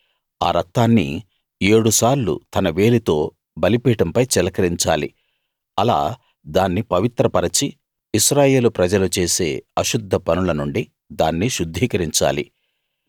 ఆ రక్తాన్ని ఏడు సార్లు తన వేలితో బలిపీఠంపై చిలకరించాలి అలా దాన్ని పవిత్ర పరచి ఇశ్రాయేలు ప్రజలు చేసే అశుద్ధ పనుల నుండి దాన్ని శుద్ధీకరించాలి